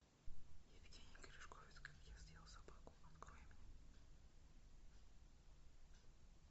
евгений гришковец как я съел собаку открой мне